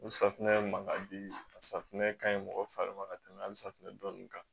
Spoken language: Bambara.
O safunɛ ye mankan di a safunɛ ka ɲi mɔgɔ fari ma ka tɛmɛ hali safunɛ dɔɔni kan